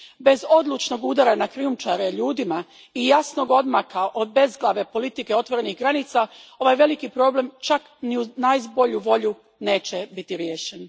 Bez odlučnog udara na krijumčare ljudima i jasnog odmaka od bezglave politike otvorenih granica, ovaj veliki problem, čak ni uz najbolju volju, neće biti riješen!